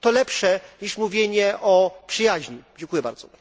Jest to lepsze niż mówienie o przyjaźni. Dziękuję bardzo.